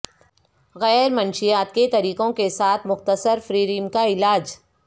غیر منشیات کے طریقوں کے ساتھ مختصر فریریم کا علاج